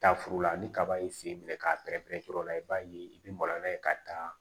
Taa furu la ni kaba ye sen minɛ k'a bɛrɛbɛrɛ pɛrɛ o la i b'a ye i bɛ maloya n'a ye ka taa